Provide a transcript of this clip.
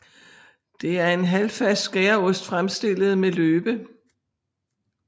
Det er en halvfast skæreost fremstillet med løbe